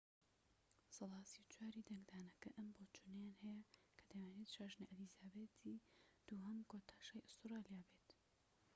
سەدا ٣٤ ی دەنگدانەکە ئەم بۆچوونەیان هەیە کە دەیانەوێت شاژنە ئەلیزابێسی دووهەم کۆتا شا ی ئوستورالیا بێت